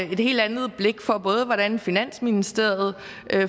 helt andet blik for hvordan finansministeriet